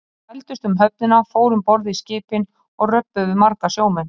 Þeir þvældust um höfnina, fóru um borð í skipin og röbbuðu við marga sjómenn.